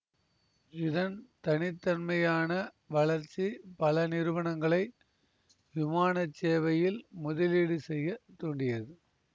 இதன் தனித்தன்மையான வளர்ச்சி பல நிறுவனங்களை விமான சேவையில் முதலீடு செய்ய தூண்டியது